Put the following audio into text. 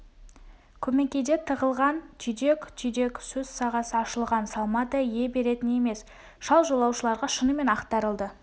көмекейде тығылған түйдек-түйдек сөз сағасы ашылған салмадай ие беретін емес шал жолаушыларға шынымен ақтарылды